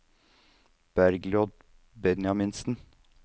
Bergljot Benjaminsen